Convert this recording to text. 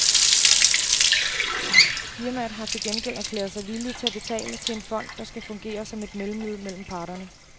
Firmaet har til gengæld erklæret sig villige til at betale til en fond, der skal fungere som et mellemled mellem parterne.